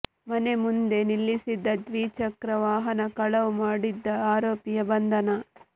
ಮನೆ ಮುಂದೆ ನಿಲ್ಲಿಸಿದ್ದ ದ್ವಿಚಕ್ರ ವಾಹನ ಕಳವು ಮಾಡುತ್ತಿದ್ದ ಆರೋಪಿಯ ಬಂಧನ